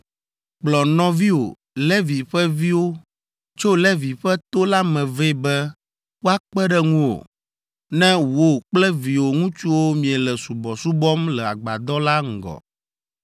Kplɔ nɔviwò, Levi ƒe viwo, tso Levi ƒe to la me vɛ be woakpe ɖe ŋuwò, ne wò kple viwò ŋutsuwo miele subɔsubɔm le agbadɔ la ŋgɔ.